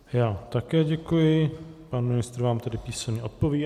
Já také děkuji, pan ministr vám tedy písemně odpoví.